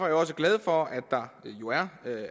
jeg også glad for